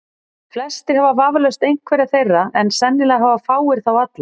Flestir hafa vafalaust einhverja þeirra, en sennilega hafa fáir þá alla.